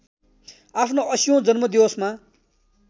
आफ्नो ८० औं जन्म दिवसमा